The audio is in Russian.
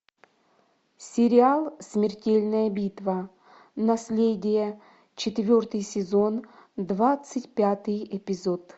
сериал смертельная битва наследие четвертый сезон двадцать пятый эпизод